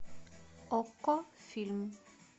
окко фильм